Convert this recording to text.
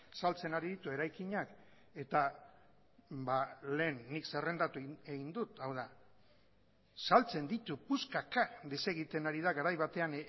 saltzen ari ditu eraikinak eta lehen nik zerrendatu egin dut hau da saltzen ditu puskaka desegiten ari da garai batean